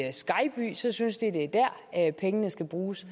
i skejby så synes de det er dér at pengene skal bruges